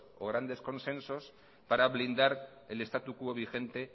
o grandes consensos para blindar el status quo vigente